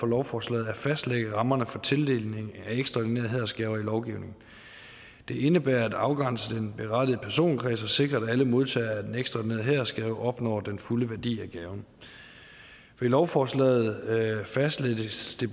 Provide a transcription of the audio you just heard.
lovforslaget at fastlægge rammerne for tildeling af ekstraordinære hædersgaver i lovgivningen det indebærer at afgrænse den berettigede personkreds og sikre at alle modtagere af den ekstraordinære hædersgave opnår den fulde værdi af gaven ved lovforslaget fastlægges det